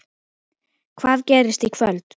Hvað gerist í kvöld?